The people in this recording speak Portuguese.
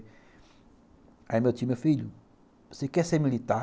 Aí meu tio falou assim, meu filho, você quer ser militar?